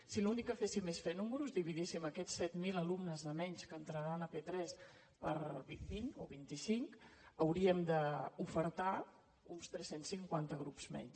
si l’únic que féssim és fer números dividíssim aquests set mil alumnes de menys que entraran a p3 per vint o vint i cint hauríem d’ofertar uns tres cents i cinquanta grups menys